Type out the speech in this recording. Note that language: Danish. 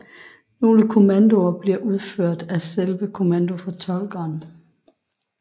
Nogle kommandoer bliver udført af selve kommandofortolkeren